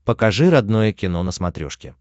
покажи родное кино на смотрешке